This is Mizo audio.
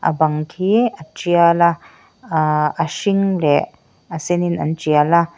bang khi a tial a ah a hring leh a sen in an tial a.